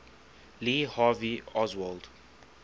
lee harvey oswald